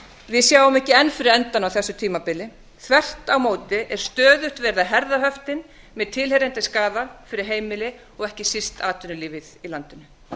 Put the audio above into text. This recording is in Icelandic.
við sjáum ekki enn fyrir endann á þessu tímabili þvert á móti er stöðugt verið að herða höftin með tilheyrandi skaða fyrir heimili og ekki síst atvinnulífið í